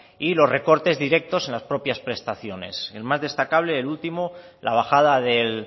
y los recortes directos en las propias prestaciones el más destacable el último la bajada del